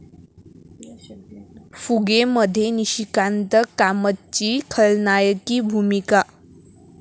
फुगे'मध्ये निशिकांत कामतची खलनायकी भूमिका